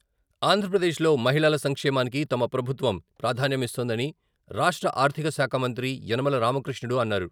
ఆంధ్రప్రదేశ్లో మహిళల సంక్షేమానికి తమ ప్రభుత్వం ప్రాధాన్యమిస్తోందని రాష్ట్ర ఆర్థికశాఖ మంత్రి యనమల రామకృష్ణుడు అన్నారు.